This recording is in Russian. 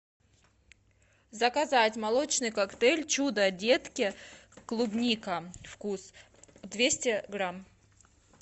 заказать молочный коктейль чудо детки клубника вкус двести грамм